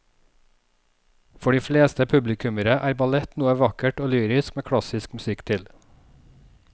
For de fleste publikummere er ballett noe vakkert og lyrisk med klassisk musikk til.